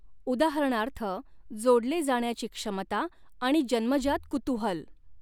उदाहरणार्थः जोडले जाण्याची क्षमता आणि जन्मजात कुतूहल.